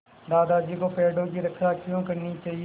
दादाजी को पेड़ों की रक्षा क्यों करनी चाहिए